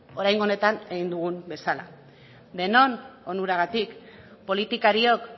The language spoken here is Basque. oraingo honetan egin dugun bezala denon onuragatik politikariok